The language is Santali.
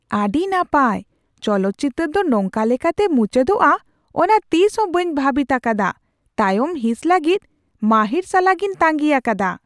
ᱟᱹᱰᱤ ᱱᱟᱯᱟᱭ! ᱪᱚᱞᱚᱛ ᱪᱤᱛᱟᱹᱨ ᱫᱚ ᱱᱚᱝᱠᱟ ᱞᱮᱠᱟᱛᱮ ᱢᱩᱪᱟᱹᱫᱚᱜᱼᱟ ᱚᱱᱟ ᱛᱤᱥᱦᱚᱸ ᱵᱟᱹᱧ ᱵᱷᱟᱹᱵᱤᱛ ᱟᱠᱟᱫᱟ ᱾ ᱛᱟᱭᱚᱢ ᱦᱤᱸᱥ ᱞᱟᱹᱜᱤᱫ ᱢᱟᱹᱦᱤᱨ ᱥᱟᱞᱟᱜᱤᱧ ᱛᱟᱹᱜᱤ ᱟᱠᱟᱫᱟ ᱾